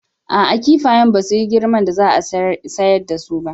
A'a, kifayen basu yi girman da za a sayar dasu ba